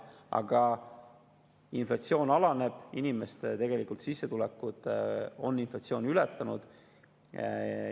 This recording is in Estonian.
Aga inflatsioon alaneb ja inimeste sissetulekute on inflatsiooni ületanud.